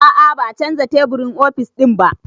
A'a ba a canza teburin ofis ɗinnan ba